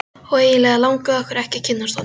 Eftir þetta kvöddust þeir með virktum.